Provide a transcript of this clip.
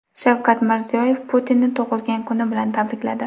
Shavkat Mirziyoyev Putinni tug‘ilgan kuni bilan tabrikladi.